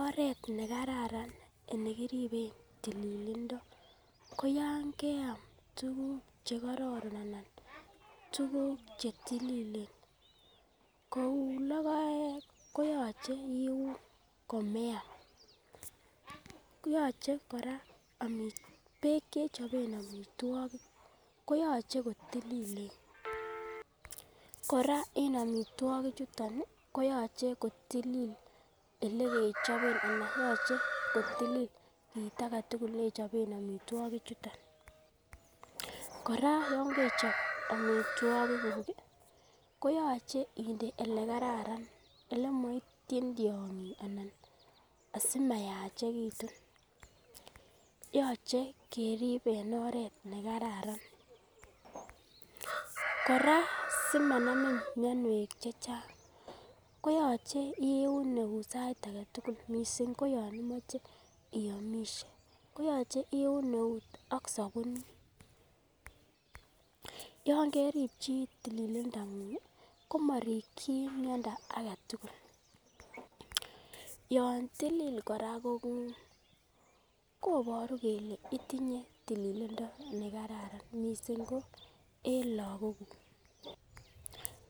Oret nekararan nekiriben tililindo koyon keam tukuk chekororon ana tukuk chetililen kou lokoek koyoche iun komeam koyoche koraa omitwokik beek chechoben omitwokik koyoche kotililen. Kora en omitwokik chuton koyoche kotulil olekichoben anan yoche kotulil kit agetutuk neichoben omitwokik chuton. koraa yon kechob omitwokik kuk kii koyoche inde olekararan ole moityin tyongik anan asimayachekitun, yoche irib en oret nekararan koraa simanamin mionwek chechang koyoche iun eut sait agetutuk missing koyon imoche iomishe koyoche iun eut ak sobunit. Yon kerip chii tililindangungi komorikin miondo agetutuk, yon tilil koraa kongung koboru kole itinye tililindo nekararan missing ko en lokok kuk,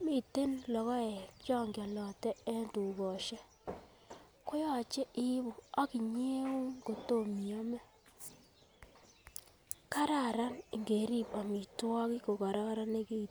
miten lokoek chon kiolote en tukoshek koyoche ibu akinyeun siome. kararan ingerib omitwokik ko kororonekitun.